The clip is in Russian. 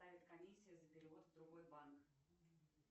комиссия за перевод в другой банк